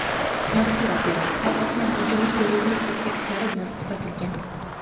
Mazkur operatsiya osmonda ajoyib yorug‘lik effektlari bilan kuzatilgan.